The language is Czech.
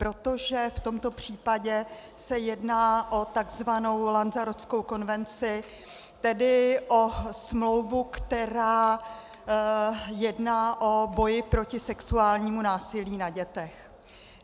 Protože v tomto případě se jedná o tzv. Lanzarotskou konvenci, tedy o smlouvu, která jedná o boji proti sexuálnímu násilí na dětech.